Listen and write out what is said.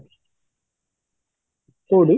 କୋଉଠି?